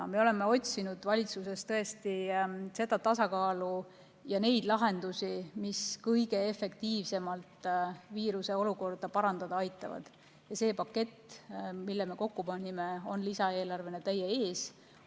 Me tõesti oleme otsinud valitsuses seda tasakaalu ja neid lahendusi, mis aitaksid kõige efektiivsemalt viiruseolukorda parandada, ja see pakett, mille me kokku panime, on lisaeelarvena teie ees.